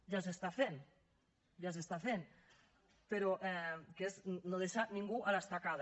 ja s’està fent ja s’està fent però que és no deixar ningú a l’estacada